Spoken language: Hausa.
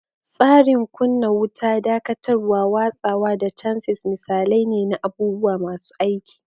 Tsarin kunna wuta, dakatarwa, watsawa, da chassis misalai ne na abubuwa masu aiki.